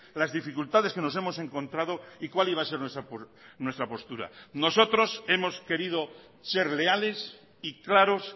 las dificultades que nos hemos encontrado y cuál iba a ser nuestra postura nosotros hemos querido ser leales y claros